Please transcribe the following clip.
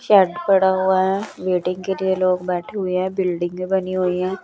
पड़ा हुआ है वेटिंग के लिए लोग बैठे हुए हैं बिल्डिंगें बनी हुई है।